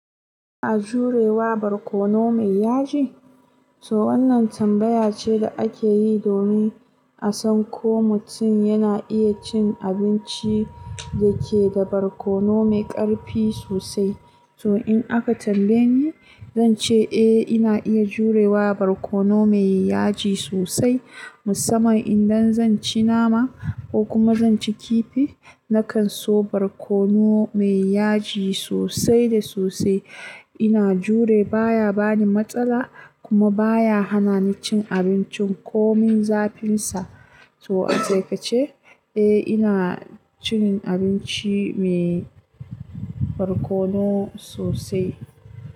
A jurewa barkono mai yaji? To wannan tambayace da akeyi domin a san ko mutum yana iya cin abinci dake da barkono mai ƙarfi sosai. To in aka tambaye ni, zance eh ina iya jurewa barkono mai yaji sosai. Musamman idan zanci nama ko kuma zanci kifi, nakan so barkono mai yaji sosai da sosai. Ina jure baya bani matsala kuma baya hanani cin abincin ko min zafinsa. To a taikace, eh inacin abinci mai barkono sosai.